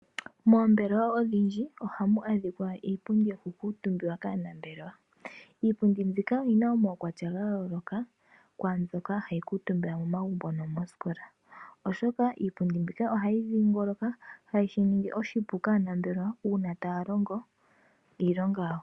Mombelewa odhindji ohamu adhika iipundi yoku kuutumbiwa kaanambelewa. Iipundi mbyoka oyina omaukwatya ga yooloka, kwaambyoka hayi kuutumbwa momagumbo nomoosikola, oshoka iipundi mbika oha yi dhiingoloka, hayi shi ningi oshipu kaanambelewa, uuna taya longo iilonga yawo.